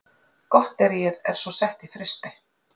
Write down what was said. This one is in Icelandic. Gotteríið er svo sett í frysti